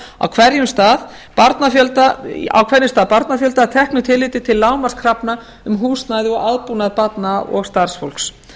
á hverjum stað barnafjölda að teknu tilliti til lágmarkskrafna um húsnæði og aðbúnað barna og starfsfólks